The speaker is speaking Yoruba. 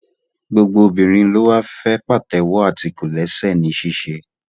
Gbogbo obìnrin ló wá fẹ́ pàtẹ́wọ́ àti kòlẹ́sẹ̀ ní ṣíṣe